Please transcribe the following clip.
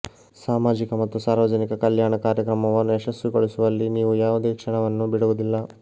ಸಾಮಾಜಿಕ ಮತ್ತು ಸಾರ್ವಜನಿಕ ಕಲ್ಯಾಣ ಕಾರ್ಯಕ್ರಮವನ್ನು ಯಶಸ್ವಿಗೊಳಿಸುವಲ್ಲಿ ನೀವು ಯಾವುದೇ ಕ್ಷಣವನ್ನು ಬಿಡುವುದಿಲ್ಲ